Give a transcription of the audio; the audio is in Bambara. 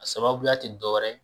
A sababuya ti dɔwɛrɛ ye.